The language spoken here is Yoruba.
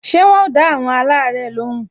Ṣé wọn ò dá àwọn alare lóhùn?